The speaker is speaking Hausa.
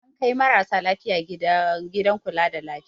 An kai marasa lafiya gidan kula da lafiya.